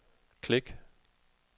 klik